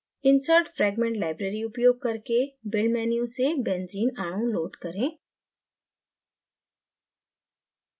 insert fragment library उपयोग करके build menu से benzene अणु load करें